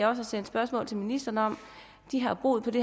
har sendt spørgsmål til ministeren om har boet